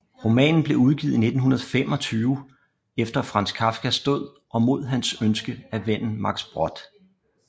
Romanen blev udgivet i 1925 efter Kafkas død og mod hans ønske af vennen Max Brod